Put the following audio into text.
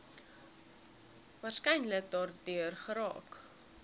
waarskynlik daardeur geraak